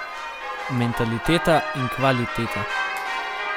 Mentaliteta in kvaliteta.